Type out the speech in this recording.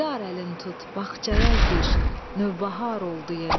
Yar əlin tut, bağçaya gir, nəvbəhar oldu yenə.